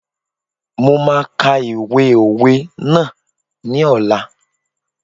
Mo máa ka ìwé òwe ná ní ọ̀la.